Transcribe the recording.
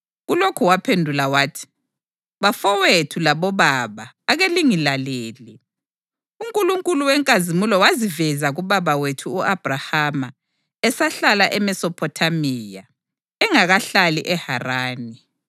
Kulokhu waphendula wathi: “Bafowethu labobaba ake lingilalele! UNkulunkulu wenkazimulo waziveza kubaba wethu u-Abhrahama esahlala eMesophothamiya, engakahlali eHarani.